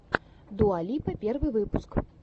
дуа липа первый выпуск